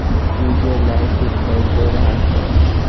DJ light दिखाई दे रहा है।